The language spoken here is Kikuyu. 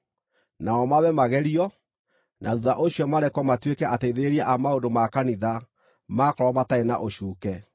Nao mambe magerio; na thuutha ũcio marekwo matuĩke ateithĩrĩria a maũndũ ma kanitha maakorwo matarĩ na ũcuuke.